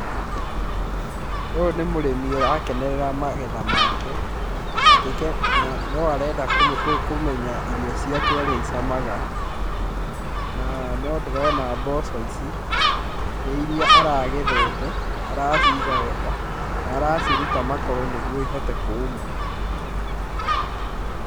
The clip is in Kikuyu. Ũyũ nĩ mũrĩni ũrakenerera magetha make na no arenda kũmenya irio ciake ũrĩa icamaga na no ndĩrona mboco ici nĩ iria aragethete araciga wega na araciruta makoro nĩgũo ihote kũũma.